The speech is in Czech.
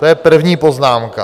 To je první poznámka.